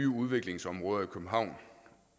udviklingsområder i københavn